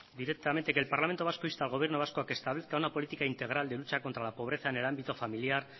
directamente que el parlamento vasco insta al gobierno vasco a que establezca una política integral de lucha contra la pobreza en el ámbito familiar